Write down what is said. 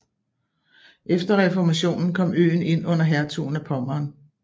Efter reformationen kom øen ind under hertugen af Pommern